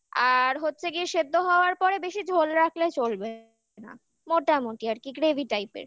আর হচ্ছে গিয়ে সেদ্ধ হওয়ার পরে বেশি ঝোল রাখলে চলবে না মোটামুটি আর কি gravy type এর